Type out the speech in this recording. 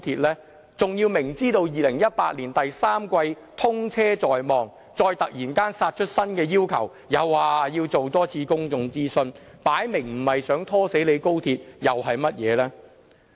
他們明知道2018年第三季通車在望，再突然殺出新的要求，又說要多進行一次公眾諮詢，很明顯，這不是想拖死高鐵又是甚麼？